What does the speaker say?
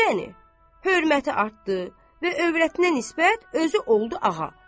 Yəni hörməti artdı və övrətinə nisbət özü oldu ağa.